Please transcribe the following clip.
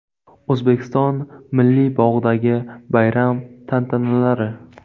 O‘zbekiston Milliy bog‘idagi bayram tantanalari.